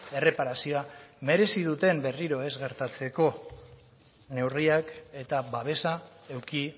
erreparazioa merezi duten berriro ez gertatzeko neurriak eta babesa eduki